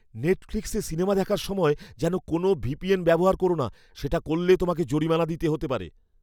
নেটফ্লিক্সে সিনেমা দেখার সময় যেন কোনও ভিপিএন ব্যবহার করো না। সেটা করলে তোমাকে জরিমানা দিতে হতে পারে।